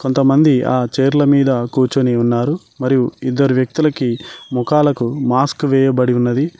కొంతమంది ఆ చేర్ల మీద కూర్చొని ఉన్నారు మరియు ఇద్దరు వ్యక్తులకి మోకాలకు మాస్క్ వేయబడి ఉన్నది.